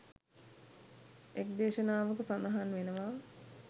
එක් දේශනාවක සඳහන් වෙනවා